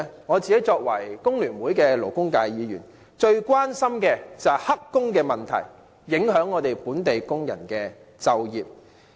我作為工聯會的勞工界別議員，最關心的便是"黑工"問題影響本地工人就業。